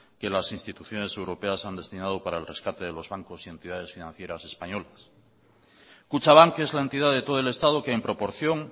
que las instituciones europeas han destinado para el rescate de los banco y entidades financieras españoles kutxabank es la entidad de todo el estado que en proporción